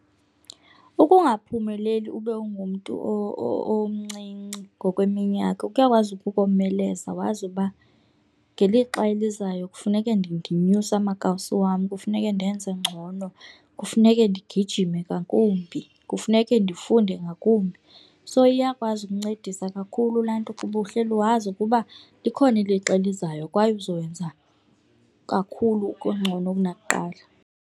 Ukungaphumeleli ube ungumntu omncinci ngokweminyaka kuyakwazi ukukomeleza wazi uba ngelixa elizayo kufuneke ndinyuse amakawusi wam, kufuneke ndenze ngcono, kufuneke ndigijime ngakumbi, kufuneke ndifunde ngakumbi. So, iyakwazi ukuncedisa kakhulu laa nto ukuba uhleli wazi ukuba likhona ilixa elizayo kwaye uzoyenza kakhulu kungcono kunakuqala.